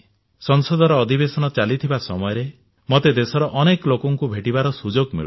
ସଂସଦର ଅଧିବେଶନ ଚାଲିଥିବା ସମୟରେ ମତେ ଦେଶର ଅନେକ ଲୋକଙ୍କୁ ଭେଟିବାର ସୁଯୋଗ ମିଳୁଛି